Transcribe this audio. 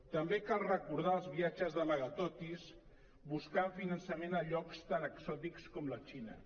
també cal recordar els viatges d’amagatotis buscant finançament a llocs tan exòtics com la xina